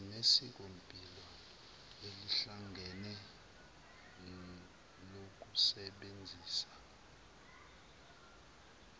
sinesikompilo elihlangene lokusebenzisa